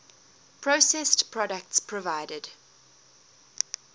processed products provided